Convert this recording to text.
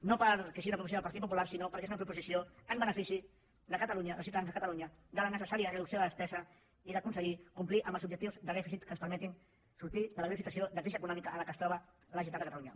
no perquè sigui una proposició del partit popular sinó perquè és una proposició en benefici de catalunya dels ciutadans de catalunya de la necessària reducció de despesa i d’aconseguir complir els o bjectius de dèficit que ens permetin sortir de la greu situa ció de crisi econòmica en què es troba la generalitat de catalunya